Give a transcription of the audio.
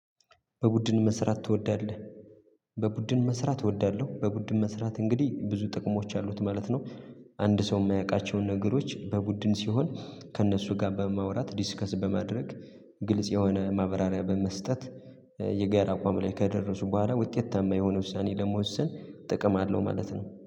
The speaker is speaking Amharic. በቡድን መስራት ትወዳለህ? በቡድን መስራት እወዳለሁ በቡድን መስራት እንግዲህ ብዙ ጥቅሞች አሉት ማለት ነው። አንድ ሰው ማያውቃቸውን ነገሮች በቡድን ሲሆን ከእነሱ ጋር በማውራት ዲስከስ በማድረግ ግልጽ የሆነ ማብራሪያ በመስጠት የጋራ አቋም ላይ ከደረሱ በኋላ ውጤታማ የሆነ ውሳኔ ለመወሰን ጥቅም አለው ማለት ነው